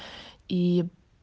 и